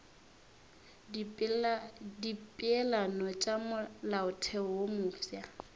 dipeelano tša molaotheo wo mofsa